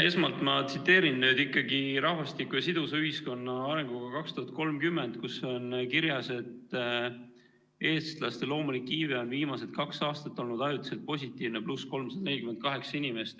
Esmalt ma tsiteerin nüüd ikkagi "Rahvastiku ja sidusa ühiskonna arengukava 2021–2030", kus on kirjas, et eestlaste loomulik iive on viimased kaks aastat olnud ajutiselt positiivne, +348 inimest.